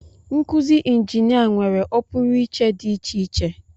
Nkuzi injinia nwere ọpụrụiche dị iche iche